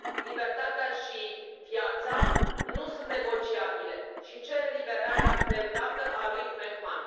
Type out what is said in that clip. Libertatea și viața nu sunt negociabile și cer eliberarea de îndată a lui Mehman.